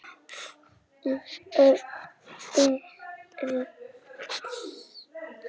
Fleiri lán gætu fallið.